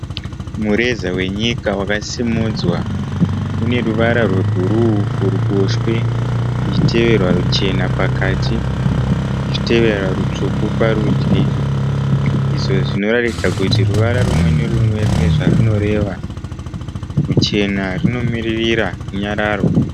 Mureza wenyika wakasimudzwa. Une ruvara rwebhuruu kuruboshwe kuchiteverwa ruchena pakati kuchiteverwa rutsvuku parudyi. Izvo zvinoratidza kuti ruvara rumwe nerumwe rune zvarunoreva. Ruchena runomirira runyararo.